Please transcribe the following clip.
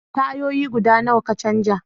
Tayoyi guda nawa ka canja?